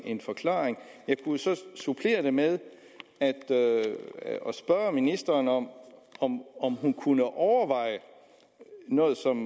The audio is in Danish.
en forklaring jeg kunne så supplere det med at spørge ministeren om hun kunne overveje noget som